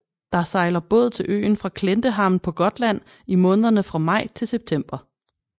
Der sejler båd til øen fra Klintehamn på Gotland i månederne fra maj til september